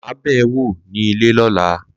Mà á bẹ̀ ẹ́ wò ní ilẹ̀ ọ̀la